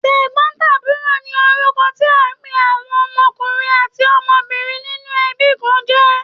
Tẹ̀gbọ́ntàbúrò ni orúkọ tí a n pé àwọn ọmọkùnrin àti ọmọbìnrin nínú ẹbí kan jẹ́.